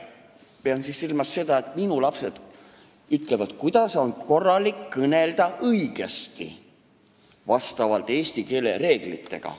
Pean silmas seda, et minu lapsed ütlevad, kuidas on õige kõnelda vastavalt eesti keele reeglitele.